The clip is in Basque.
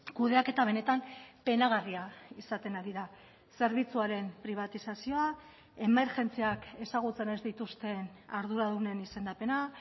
kudeaketa benetan penagarria izaten ari da zerbitzuaren pribatizazioa emergentziak ezagutzen ez dituzten arduradunen izendapena